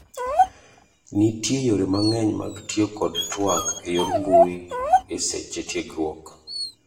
Nitie yore mang'eny mag tiyo kod twak eyor mbui eseche tiegruok'.